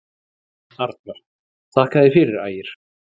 Arnar: Þakka þér fyrir Ægir.